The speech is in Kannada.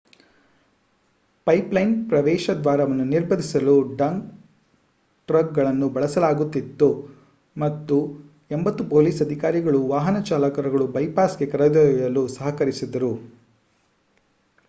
ಪೈಪ್ಲೈನ್ ಪ್ರವೇಶದ್ವಾರವನ್ನು ನಿರ್ಬಂಧಿಸಲು ಡಂಪ್ ಟ್ರಕ್ಗಳನ್ನು ಬಳಸಲಾಗುತ್ತಿತ್ತು ಮತ್ತು 80 ಪೊಲೀಸ್ ಅಧಿಕಾರಿಗಳು ವಾಹನ ಚಾಲಕರನ್ನು ಬೈಪಾಸ್ಗೆ ಕರೆದೊಯ್ಯಲು ಸಹಕರಿಸಿದರು